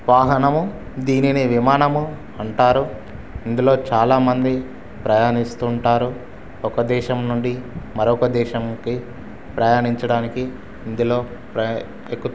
వాహనము దీనిని విమానము అంటారు. ఇందులో చాలా మంది ప్రయాణిస్తుంటారు. ఒక దేశం నుండి మరొక దేశంకి ప్రయాణించడానికి ఇందులో ప్ర ఎక్కుతా--